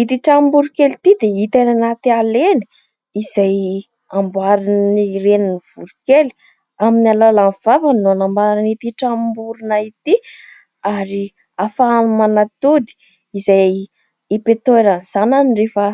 Ity tranom-boronkely ity dia hita eny anaty ala eny, izay amboarin'ny renin'ny voronkely. Amin'ny alalan'ny vavany no anamboarany ity tranom-borona ity. Ary ahafahany manatody, izay ipetrahan'ny zanany rehefa